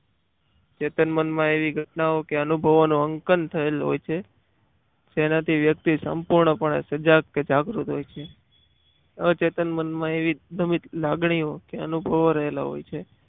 ચેતન મનમાં એવી ઘટનાઓ કે અનુભવો નું અંકન થયેલું હોય છે તેનાથી વ્યક્તિ સંપૂર્ણપણે સજા કે જાગૃત હોય છે. અચેતન મનમાં એવી લાગણી કે અનુભવો રહેલા હોય છે.